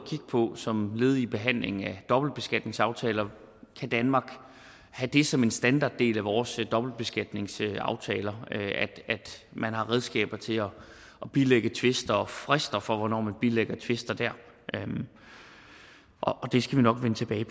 på som led i behandlingen af dobbeltbeskatningsaftaler kan danmark have det som en standarddel af vores dobbeltbeskatningsaftaler at man har redskaber til at bilægge tvister og frister for hvornår man bilægger tvister der og det skal vi nok vende tilbage